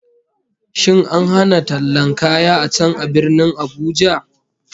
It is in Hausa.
Shin an hana tallan kaya a ka a Birnin Abuja?